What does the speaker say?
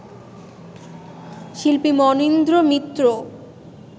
শিল্পী মনীন্দ্র মিত্র